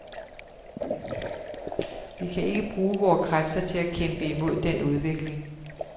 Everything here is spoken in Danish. Vi kan ikke bruge vore kræfter til at kæmpe imod den udvikling.